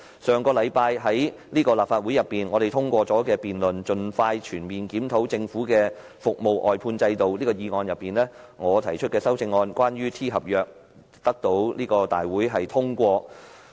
上星期立法會通過的"盡快全面檢討政府的服務外判制度"議案，我提出關於 "T 合約"的修正案，獲得立法會通過。